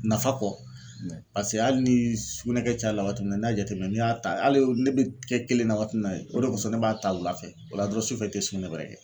Nafa kɔ paseke hali ni sugunɛkɛ caya la waati min na n'i y'a jateminɛ n'i y'a ta hali ne bɛ kɛ kelen na waati min na o de kosɔn ne b'a ta wula fɛ o la dɔrɔn sufɛ i te sugunɛ wɛrɛ kɛ.